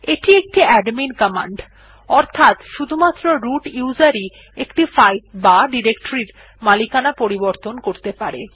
এটি একটি admin command অর্থাত শুধুমাত্র রুট উসের ই একটি ফাইল বা ডিরেকটরি এর মালিকানা পরিবর্তন করতে পারে